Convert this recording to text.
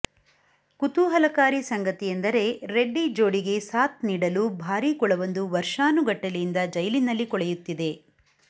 ಕುತೂಹಲಕಾರಿ ಸಂಗತಿಯೆಂದರೆ ರೆಡ್ಡಿ ಜೋಡಿಗೆ ಸಾಥ್ ನೀಡಲು ಭಾರಿ ಕುಳವೊಂದು ವರ್ಷಾನುಗಟ್ಟಲೆಯಿಂದ ಜೈಲಿನಲ್ಲಿ ಕೊಳೆಯುತ್ತಿದೆ